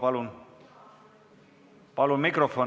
Palun!